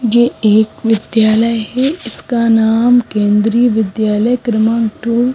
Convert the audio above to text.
ये एक विद्यालय है इसका नाम केंद्रीय विद्यालय क्रमांक टु ।